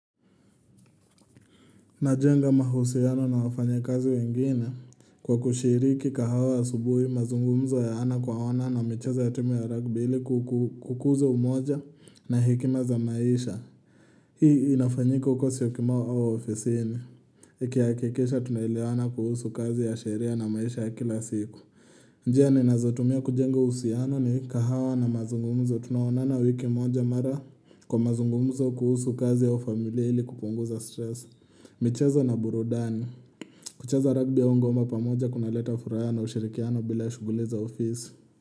Najenga mahusiano na wafanyakazi wengine kwa kushiriki kahawa asubuhi mazungumzo ya ana kwa ana na micheza ya timu ya rugby ilikukuza umoja na hekima za maisha. Hii inafanyiko kwa siyokimau wa ofisini. Ikihakikisha tunaelewana kuhusu kazi ya sheria na maisha ya kila siku. Njia ninazotumia kujenga uhusiano ni kahawa na mazungumzo tunaonana wiki umoja mara kwa mazungumzo kuhusu kazi ya ufamilia ilikupunguza stress. Michezo na burudani kucheza rugby au ngoma pamoja kuna leta furaha na ushirikiano bila shuguli za ofisi.